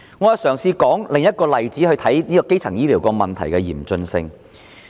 我試舉另一例子，以顯示基層醫療問題多麼嚴峻。